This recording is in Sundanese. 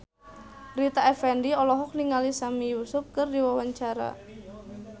Rita Effendy olohok ningali Sami Yusuf keur diwawancara